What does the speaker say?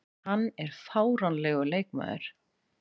Hann er fáránlegur leikmaður.